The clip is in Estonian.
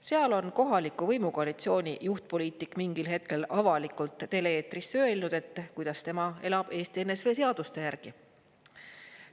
Seal on kohaliku võimukoalitsiooni juhtpoliitik mingil hetkel avalikult tele-eetris öelnud, et tema elab Eesti NSV seaduste järgi.